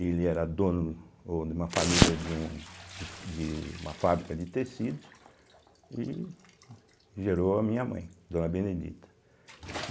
Ele era dono oh de uma família de um de uma fábrica de tecidos e gerou a minha mãe, Dona Benedita.